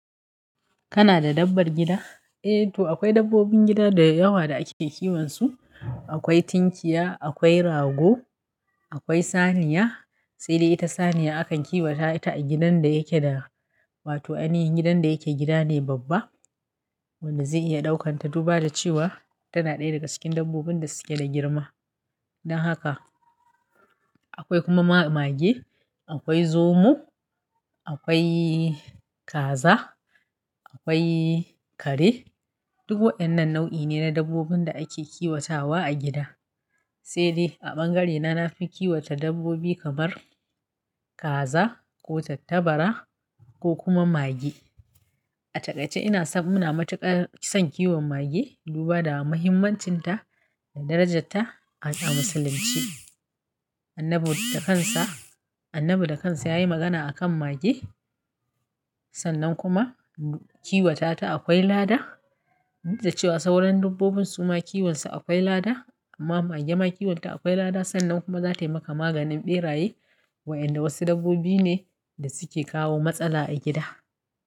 Kana da dabbar gida? Eh to akwai dabbobin gida da yawa da ake kiwon su. Akwai tinkiya, akwai rago, akwai saniya. Sai dai ita saniya akan kiwata ta a gidan da yake da, wato ainihin gidan da yake gida ne babba wanda zai iya daukan ta duba da cewa tana ɗaya daga cikin dabbobin da suke da girma. Dan haka akwai kuma ma-mage, akwai zomo, akwai kaza, akwai kare. Duk wa'inan nau'i ne na dabbobin da ake kiwatawa a gida. Sai dai a bangarena na fi kiwata dabbobi kamar kaza ko tattabara ko kuma mage. A taƙaice ina samuna matuƙar son kiwon mage duba da muhimmancin ta da darajarta a Musulunci. Annabi da kansa, Annabi da kansa ya yi magana a kan mage sannan kuma kiwata ta akwai lada da cewa sauran dabbobin suma kiwon su akwai lada amma mage ma kiwon ta akwai lada sannan kuma za ta yi maka maganin ɓeraye wa'inda wasu dabbobi ne da suke kawo matsala a gida.